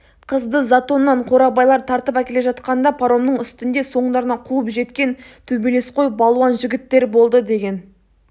қызды затоннан қорабайлар тартып әкеле жатқанда паромның үстінде соңдарынан қуып жеткен төбелесқой балуан жігіттер болды деген